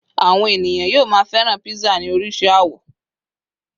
àwọn ènìyàn yíò ma feran pizza ni oríṣi awọ